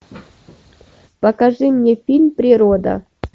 покажи мне фильм природа